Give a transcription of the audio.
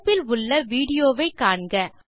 தொடுப்பில் உள்ள விடியோ வை காண்க